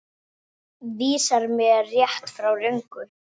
Vísar mér rétt, frá röngu.